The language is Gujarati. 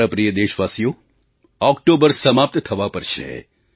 મારા પ્રિય દેશવાસીઓ ઓક્ટોબર સમાપ્ત થવા પર છે